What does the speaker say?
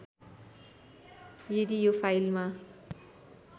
यदि यो फाइलमा